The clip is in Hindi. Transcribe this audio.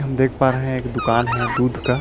हम देख पा रहे हैं एक दुकान है दूध का।